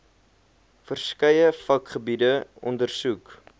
verskeie vakgebiede ondersoek